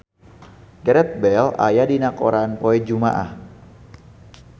Gareth Bale aya dina koran poe Jumaah